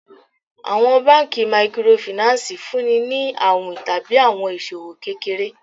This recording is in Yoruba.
Àwọn banki Microfinance fúnni ni àwìn tàbí àwọn iṣòwò kékeré.